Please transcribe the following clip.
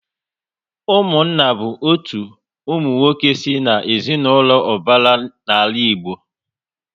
Ụmụnna bụ otu ụmụnwoke si na ezinaụlọ ubara n'ala Igbo